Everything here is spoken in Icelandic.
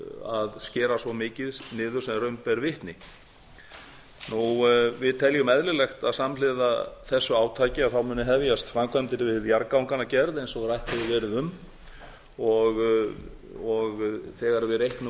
að skera svo mikið niður sem raun ber vitni við teljum eðlilegt að samhliða þessu átaki muni hefjast framkvæmdir við jarðgangagerð eins og rætt hefur verið um og þegar við reiknum